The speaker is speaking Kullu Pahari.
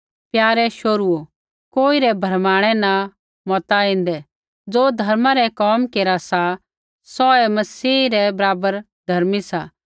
प्यारे शोहरूओ कोई रै भरमाणै न मता ऐन्दै ज़ो धर्मा रै कोम केरा सा सौ ऐ मसीह रै बराबर धर्मी सा